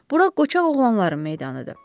Bura qoçaq oğlanların meydanıdır.